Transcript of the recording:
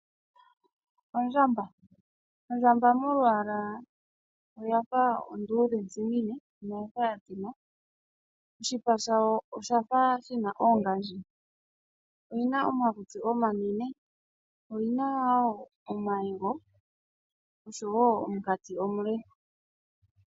Ondjamba Ondjamba molwaala oya fa onduudhentsimine, ano oya fa ya tsima. Oshipa shawo osha fa shi na oongandji. Oyi na omakutsi omanene. Oyi na wo omayego oshowo omunkati omule.